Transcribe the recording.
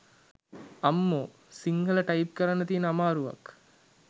අම්මෝ සින්හල ටයිප් කරන්න තියන අමාරුවක්.